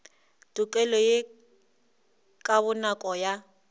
tokelo ye ka bonako ya